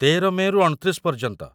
୧୩ ମେ'ରୁ ୨୯ ପର୍ଯ୍ୟନ୍ତ।